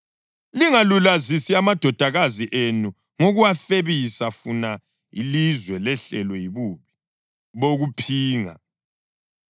Lingalulazisi amadodakazi enu ngokuwafebisa funa ilizwe lehlelwe yibubi bokuphinga.